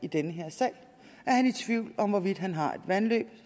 i den her sag er han i tvivl om hvorvidt han har et vandløb